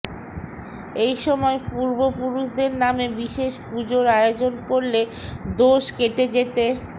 এই সময় পূর্বপুরুষদের নামে বিশেষ পুজোর আয়োজন করলে দোষ কেটে যেতে